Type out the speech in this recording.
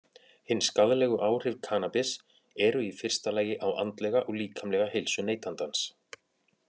Hin skaðlegu áhrif kannabis eru í fyrsta lagi á andlega og líkamlega heilsu neytandans.